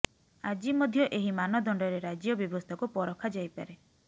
ଆଜି ମଧ୍ୟ ଏହି ମାନଦଣ୍ଡରେ ରାଜ୍ୟ ବ୍ୟବସ୍ଥାକୁ ପରଖା ଯାଇପାରେ